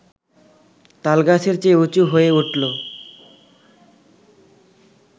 তালগাছের চেয়ে উঁচু হয়ে উঠল